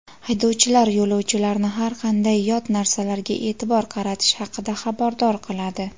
Haydovchilar yo‘lovchilarni har qanday yot narsalarga e’tibor qaratish haqida xabardor qiladi.